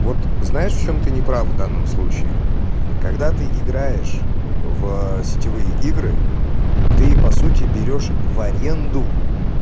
вот знаешь в чём ты не прав в данном случае когда ты играешь в сетевые игры ты по сути берёшь в аренду